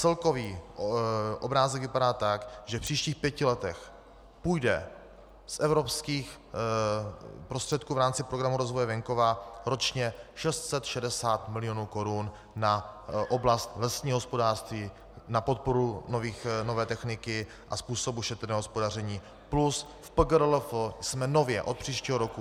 Celkový obrázek vypadá tak, že v příštích pěti letech půjde z evropských prostředků v rámci Programu rozvoje venkova ročně 660 milionů korun na oblast lesního hospodářství, na podporu nové techniky a způsobu šetrného hospodaření, plus v PGRLF jsme nově od příštího roku...